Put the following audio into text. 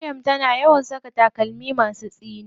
Maryam tana yawan saka takalma masu tsini.